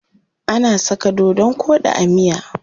Ana saka dodon koɗi a miya.